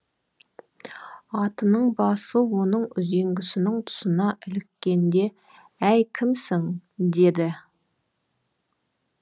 атының басы оның үзеңгісінің тұсына іліккенде әй кімсің деді